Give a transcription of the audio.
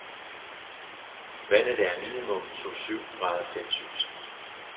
Vandet er minimum to syv grader celcius.